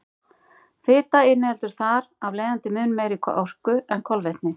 Fita inniheldur þar af leiðandi mun meiri orku en kolvetni.